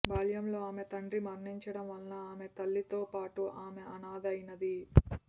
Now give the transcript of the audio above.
బాల్యంలో ఆమె తండ్రి మరణించడం వలన ఆమె తల్లితో పాటు ఆమె అనాథ అయినది